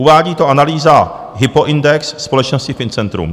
Uvádí to analýza Hypoindex společnosti Fincentrum.